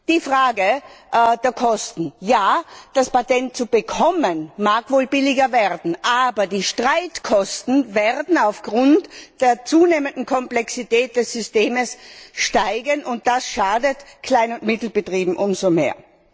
Die Frage der Kosten Ja, das Patent zu bekommen, mag wohl billiger werden, aber die Streitkosten werden aufgrund der zunehmenden Komplexität des Systems steigen, und das schadet Klein und Mittelbetrieben umso mehr.